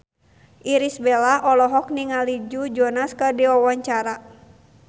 Irish Bella olohok ningali Joe Jonas keur diwawancara